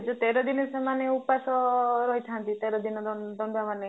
ଯୋଉ ତେର ଦିନ ସେମାନେ ଉପାସ ରହିଥାନ୍ତି ତେର ଦିନ ଦଣ୍ଡୁଆ ମାନେ